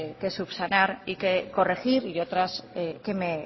que subsanar y que corregir y otras que